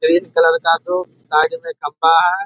Red colour का दो side मे खम्बा है।